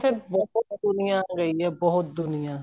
ਕੇ ਬਹੁਤ ਦੁਨੀਆਂ ਗਈ ਏ ਬਹੁਤ ਦੁਨੀਆਂ